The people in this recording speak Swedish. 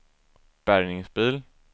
bärgningsbil